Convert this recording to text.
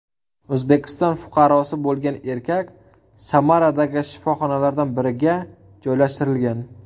O‘zbekiston fuqarosi bo‘lgan erkak Samaradagi shifoxonalardan biriga joylashtirilgan.